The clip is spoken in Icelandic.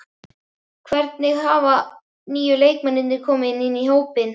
Hvernig hafa nýju leikmennirnir komið inn í hópinn?